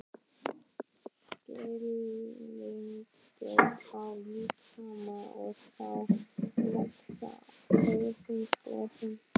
Skilningur á líkama og sál vex hröðum skrefum.